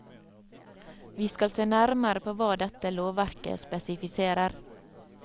Vi skal se nærmere på hva dette lovverket spesifiserer.